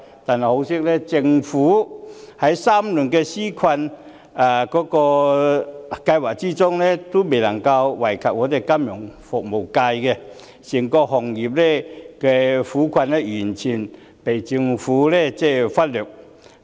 但很可惜，政府3輪紓困計劃也未能惠及金融服務業，整個行業的苦困完全被政府忽略。